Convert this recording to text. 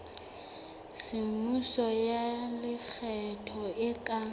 semmuso ya lekgetho e ka